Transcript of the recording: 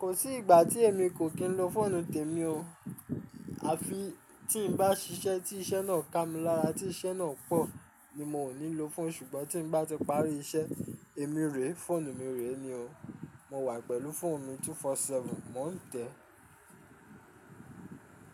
Kò sí ìgbà tí èmi kò kín lo fóònù tèmi o. Àfi tí n bá ṣiṣẹ́ tí iṣẹ́ náà kà mí lára, tí iṣẹ́ náà pọ̀ ni mo nílò fóònù ṣùgbọ́n tí n bá ti parí iṣẹ́ èmi rèé, fóònù mi rèé ni o. Mo wà pẹ̀lú fóònù mi 24/7, mò ń tẹ́